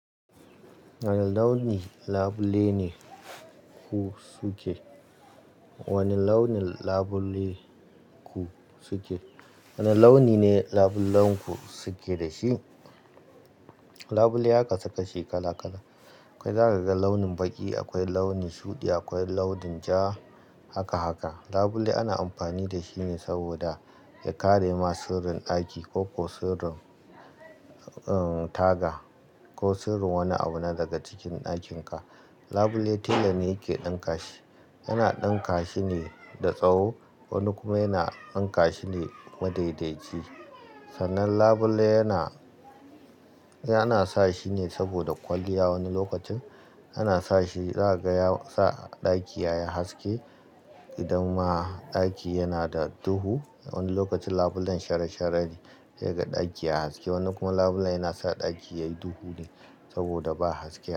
Wani launin labule ne ku suke? Wane launin labule ku suke? Wane launi ne labulenku suke da shi? Labule ya kasu kashi kala-kala. Akwai za ka ga launin baƙi, akwai launi shuɗi, akwai launin ja, haka haka. Labule ana amfani da shi ne saboda ya kare ma sirrin ɗaki ko, ko sirrin, uhn, taga ko sirrin wani abu na daga cikin ɗakinka. Labule tela ne yake ɗinka shi. Yana ɗinka shi ne da tsawo, wani kuma yana ɗinka shi ne madaidaiji. Sannan labule yana, yana sa shi ne saboda kwalliya. Wani lokacin ana sa shi za'a ga yasa ɗaki yayi haske idan ma ɗaki yana da duhu. Wani lokacin labulen shara shara ne yaka ɗaki a haske, wani kuma labule yana sa ɗaki yayi duhu ne saboda ba haske a.